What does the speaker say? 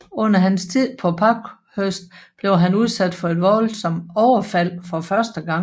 Under hans tid på Parkhurst blev han udsat for et voldsomt overfald for første gang